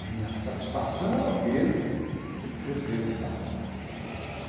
A minha satisfação era ver crescer a cidade.